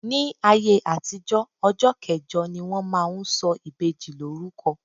Ní ayé àtijó, ọjọ́ kẹjọ ni wón máa ń sọ ìbejì lórúko.